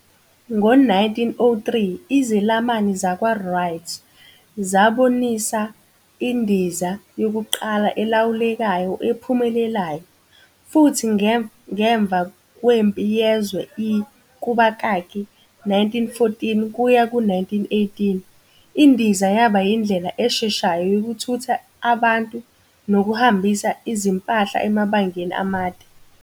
Ngo-1903 izelamani zakwaWright zabonisa indiza yokuqala elawulekayo ephumelelayo, futhi ngemva kweMpi Yezwe I, 1914-1918, indiza yaba indlela esheshayo yokuthutha abantu nokuhambisa izimpahla emabangeni amade.